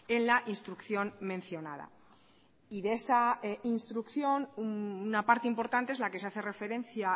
en la instrucción mencionada y de esa instrucción una parte importante es la que se hace referencia